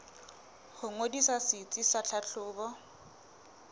ho ngodisa setsi sa tlhahlobo